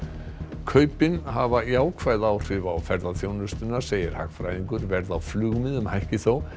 kaupin hafa jákvæð áhrif á ferðaþjónustuna segir hagfræðingur verð á flugmiðum hækki þó